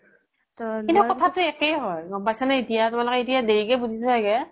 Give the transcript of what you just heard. কিন্তু কথাতো একেই হয় গ্'ম পাইছা নে এতিয়া তোমালোকে এতিয়া দেৰিকে বুজিচা চাগে